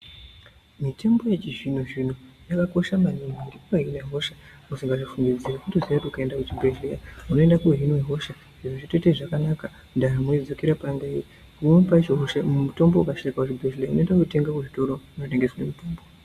Mitombo yechizvino-zvino, yakakosha maningi, inobahine hosha usingazvifungidzire. Unotoziye kuti ukaenda kuchibhedhlera unoendakohinwa hosha zviro zvotoita zvakanaka, ndaramo yodzokera payanga iri. Pamweni pacho mutombo ukashaikwa kuchibhedhlera, unoenda kuzvitoro zvinotengese mitombo.